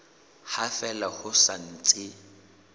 ha fela ho sa ntse